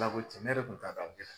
Ala ko tiɲɛ ne yɛrɛ tun t'a dɔ a bɛ kɛ t